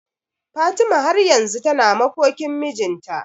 Fatima har yanzu tana makokin mijinta.